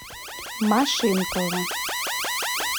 машинкова